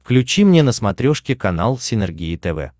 включи мне на смотрешке канал синергия тв